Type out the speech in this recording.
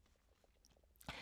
DR K